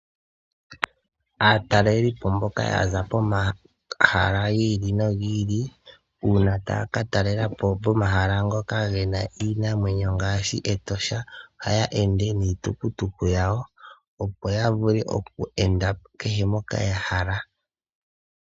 Aatalelipo mboka ya za komahala gi ili nogi ili, uuna taya ka talela po pomahala ngoka ge na iinamwenyo ngaashi Etosha, ohaya ende niitukutuku yawo, opo ya vule oku enda kehe mpoka ya hala.